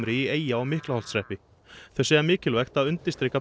í Eyja og Miklaholtshreppi þau segja mikilvægt að undirstrika